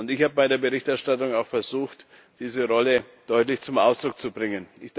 Ich habe bei der Berichterstattung auch versucht, diese Rolle deutlich zum Ausdruck zu bringen.